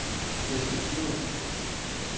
Eskilstuna